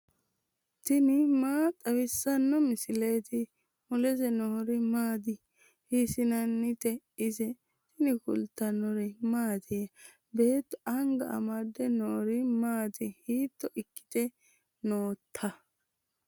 tini maa xawissanno misileeti ? mulese noori maati ? hiissinannite ise ? tini kultannori mattiya? Beetto anga amade noori maatti? hiitto ikkitte nootta?